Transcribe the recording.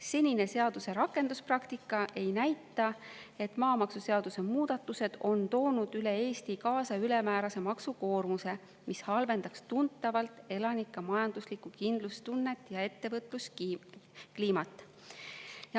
Senine seaduse rakenduspraktika ei näita, et maamaksuseaduse muudatused on toonud üle Eesti kaasa ülemäärase maksukoormuse, mis halvendaks tuntavalt elanike majanduslikku kindlustunnet ja ettevõtluskliimat.